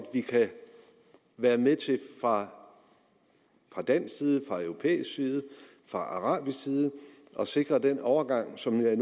vi kan være med til fra dansk side fra europæisk side fra arabisk side at sikre den overgang som jeg